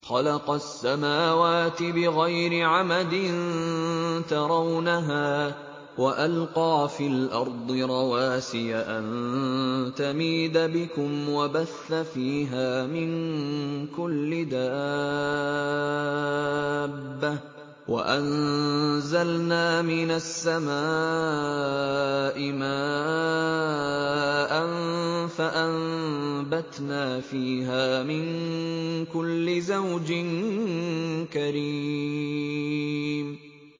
خَلَقَ السَّمَاوَاتِ بِغَيْرِ عَمَدٍ تَرَوْنَهَا ۖ وَأَلْقَىٰ فِي الْأَرْضِ رَوَاسِيَ أَن تَمِيدَ بِكُمْ وَبَثَّ فِيهَا مِن كُلِّ دَابَّةٍ ۚ وَأَنزَلْنَا مِنَ السَّمَاءِ مَاءً فَأَنبَتْنَا فِيهَا مِن كُلِّ زَوْجٍ كَرِيمٍ